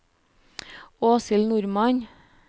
Åshild Normann